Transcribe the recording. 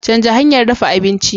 Canza hanyar ɗafa abinci!